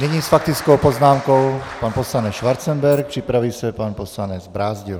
Nyní s faktickou poznámkou pan poslanec Schwarzenberg, připraví se pan poslanec Brázdil.